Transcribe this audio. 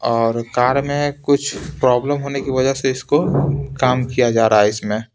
और कार में कुछ प्रॉब्लम होने की वजह से इसको काम किया जा रहा है इसमें--